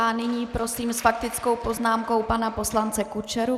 A nyní prosím s faktickou poznámkou pana poslance Kučeru.